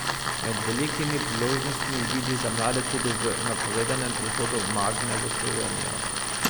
Med velikimi priložnostmi vidi za mlade tudi v napovedanem prihodu Magne v Slovenijo.